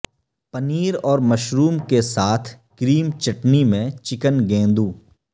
پنیر اور مشروم کے ساتھ کریم چٹنی میں چکن گیندوں